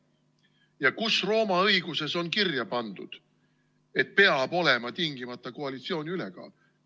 Ja kus Rooma õiguses on kirja pandud, et peab olema tingimata koalitsiooni ülekaal?